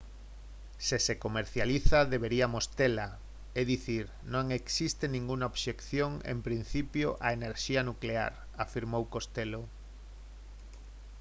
se se comercializa deberíamos tela é dicir non existe ningunha obxección en principio á enerxía nuclear afirmou costello